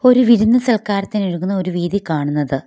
ഒരു വിരുന്നു സൽക്കാരത്തിന് ഒരുങ്ങുന്ന ഒരു വീഥി കാണുന്നത്.